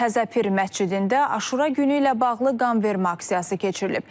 Təzəpir məscidində Aşura günü ilə bağlı qanvermə aksiyası keçirilib.